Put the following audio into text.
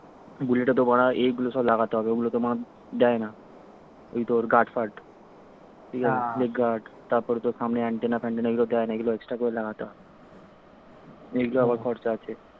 বুলেতে তো বাড়া এইগুলো সব লাগাতে হবে ঐগুলো তো বাড়া দেয় না ওই তোর guard ফার্ড leg guard তারপরে তোর সামনে antenna ফ্যান্টেনা ওই গুলো দেয়না অইগুল extra করে লাগাতে হয় এইগুলোর আবার খরচা আছে